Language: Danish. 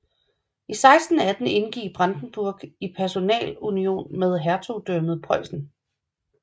I 1618 indgik Brandenburg i personalunion med Hertugdømmet Preussen